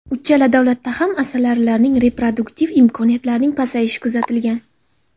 Uchala davlatda ham asalarilarning reproduktiv imkoniyatlarining pasayishi kuzatilgan.